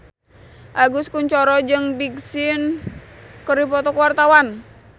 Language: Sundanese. Agus Kuncoro jeung Big Sean keur dipoto ku wartawan